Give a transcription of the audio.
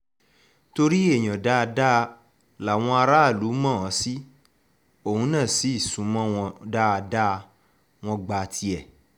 torí èèyàn dáadáa làwọn aráàlú mọ̀ ọ́n sí òun náà sì sún mọ́ wọn dáadáa wọn gba tiẹ̀